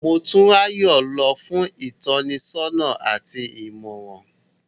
Motunrayo lọ fun itọnisọna ati imọran